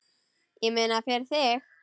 Ég meina, fyrir þig.